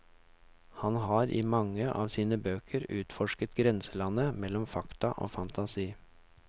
Han har i mange av sine bøker utforsket grenselandet mellom fakta og fantasi.